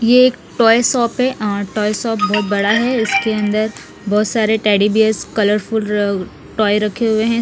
ये एक toy shop है और टॉय शॉप बहुत बड़ा है इसके अन्दर बहुत सारे teddy bears colourful uh toy रखे हुए हैं।